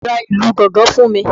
Bàbá mi ra ìlù gangan fún mi